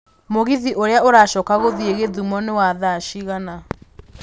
mũgithi ũria ũracoka gũthiĩ githumo nĩwa thaa cigana